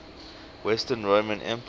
western roman empire